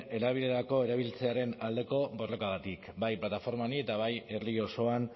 erabilerako erabiltzearen aldeko borrokagatik bai plataforma honi eta bai herri osoan